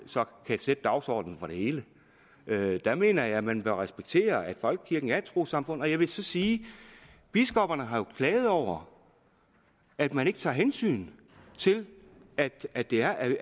kan sætte dagsordenen for det hele der mener jeg at man bør respektere at folkekirken er et trossamfund jeg vil så sige at biskopperne jo har klaget over at man ikke tager hensyn til at det er et